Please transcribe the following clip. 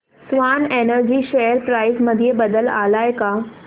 Swan Energy share price मध्ये बदल आलाय का